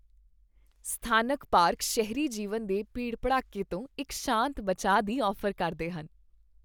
ਸਥਾਨਕ ਪਾਰਕ ਸ਼ਹਿਰੀ ਜੀਵਨ ਦੇ ਭੀੜ ਭੜੱਕੇ ਤੋਂ ਇੱਕ ਸ਼ਾਂਤ ਬਚਾਅ ਦੀ ਔਫ਼ਰ ਕਰਦੇ ਹਨ